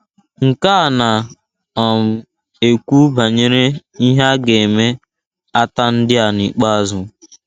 Nke a na - um ekwu banyere ihe a ga - eme ata ndị a n’ikpeazụ.